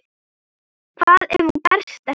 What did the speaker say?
Hvað ef hún berst ekki?